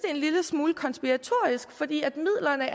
en lille smule konspiratorisk fordi midlerne